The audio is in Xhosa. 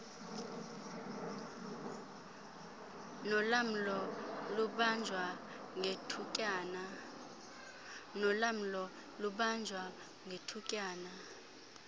nolamlo lubanjwa ngethutyana